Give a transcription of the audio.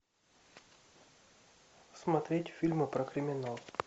смотреть фильмы про криминал